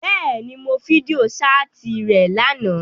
Bẹ́ẹ̀ni, Mo fidio-ṣaati rẹ làná.